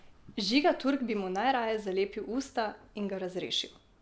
Žiga Turk bi mu najraje zalepil usta in ga razrešil!